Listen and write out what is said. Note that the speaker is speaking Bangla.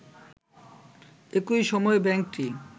একই সময়ে ব্যাংকটি